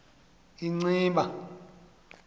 inciba